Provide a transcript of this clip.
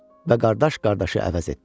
Və qardaş qardaşı əvəz etdi.